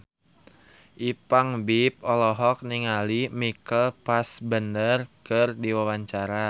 Ipank BIP olohok ningali Michael Fassbender keur diwawancara